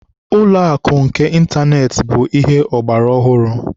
Ụlọakụ nke ịntaneetị bụ ihe ọgbaraọhụrụ